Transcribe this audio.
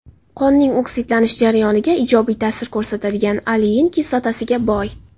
Qonning oksidlanish jarayoniga ijobiy ta’sir ko‘rsatadigan olein kislotasiga boy.